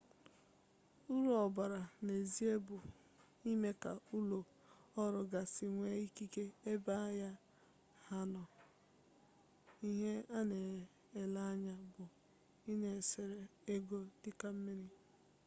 uru ọ bara n'ezie bụ ịme ka ụlọ ọrụ gasị nwee ikikere ebe ahịa ha nọ ihe a na-ele anya bụ ị na-esere ego dịka mmiri